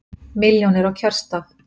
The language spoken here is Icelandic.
Milljónir á kjörstað